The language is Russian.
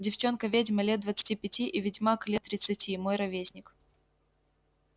девчонка-ведьма лет двадцати пяти и ведьмак лет тридцати мой ровесник